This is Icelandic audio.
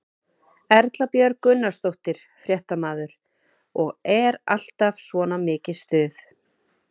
Erla Björg Gunnarsdóttir, fréttamaður: Og er alltaf svona mikið stuð?